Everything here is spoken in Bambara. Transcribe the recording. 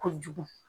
Kojugu